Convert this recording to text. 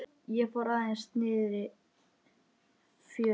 Ég fór aðeins niðrí fjöru.